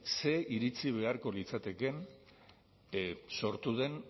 ze iritzi beharko litzatekeen sortu den